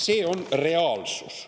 See on reaalsus.